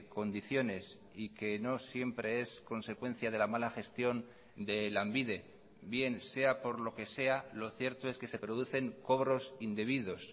condiciones y que no siempre es consecuencia de la mala gestión de lanbide bien sea por lo que sea lo cierto es que se producen cobros indebidos